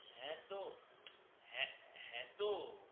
হে তো হে হে তো